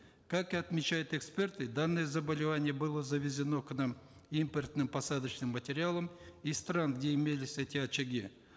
как отмечают эксперты данное заболевание было завезено к нам импортным посадочным материалом из стран где имелись эти очаги